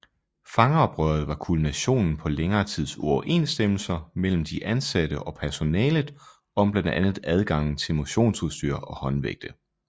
Fangeoprøret var kulminationen på længere tids uoverensstemmelser mellem de indsatte og personalet om blandt andet adgangen til motionsudstyr og håndvægte